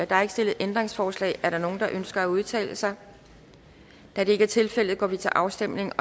der er ikke stillet ændringsforslag er der nogen der ønsker at udtale sig da det ikke er tilfældet går vi til afstemning